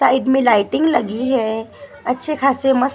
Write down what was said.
side मे lighting लगी है अच्छे खासे मस्त--